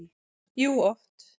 Jú, oft.